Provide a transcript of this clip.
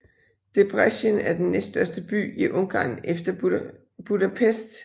Debrecen er den næststørste by i Ungarn efter Budapest